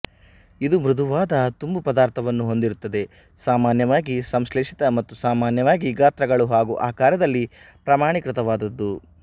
ಇದು ಮೃದುವಾದ ತುಂಬು ಪದಾರ್ಥವನ್ನು ಹೊಂದಿರುತ್ತದೆ ಸಾಮಾನ್ಯವಾಗಿ ಸಂಶ್ಲೇಷಿತ ಮತ್ತು ಸಾಮಾನ್ಯವಾಗಿ ಗಾತ್ರಗಳು ಹಾಗೂ ಆಕಾರದಲ್ಲಿ ಪ್ರಮಾಣೀಕೃತವಾದದ್ದು